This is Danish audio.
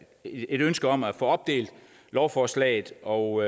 et ønske om at få opdelt lovforslaget og